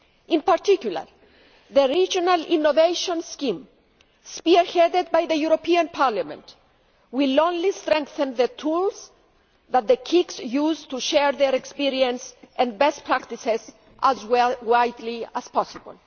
In particular, the Regional Innovation Scheme, spearheaded by the European Parliament, will only strengthen the tools that the KICs use to share their experience and best practices as widely as possible.